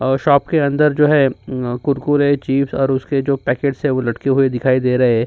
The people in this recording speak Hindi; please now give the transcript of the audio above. और शॉप के अंदर जो है कुरकुरे चिप्स और उसके जो पेकेट्स लटके हुए दिखाई दे रहे हैं।